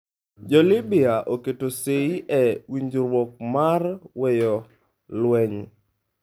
Jo Libya oketo sei e winjruok mar weyo lweny